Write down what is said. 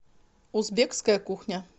узбекская кухня